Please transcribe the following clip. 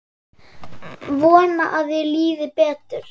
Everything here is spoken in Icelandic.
Vona að þér líði betur.